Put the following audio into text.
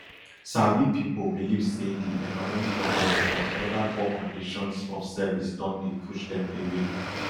sabi pipo believe say di economic wahala and oda poor conditions of service don dey push dem away